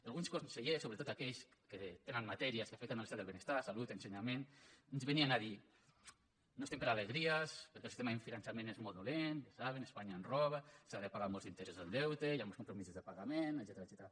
alguns consellers sobretot aquells que tenen matèries que afecten l’estat del benestar salut ensenyament ens venien a dir no estem per alegries perquè el sistema de finançament és molt dolent ja ho saben espanya ens roba s’ha de pagar molts interessos del deute hi han molts compromisos de pagament etcètera